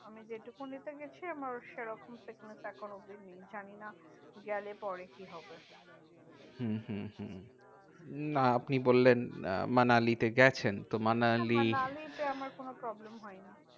আমি যেটুকু এ তে গেছি আমার সেরকম sickness এখনো অব্ধি নেই। জানিনা গেলে পরে কি হবে? হম হম হম না আপনি বললেন মানালিতে গেছেন। তো মানালি, মানালিতে আমার কোনো problem হয়নি।